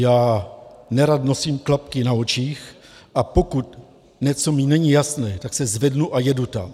Já nerad nosím klapky na očích, a pokud mi něco není jasné, tak se zvednu a jedu tam.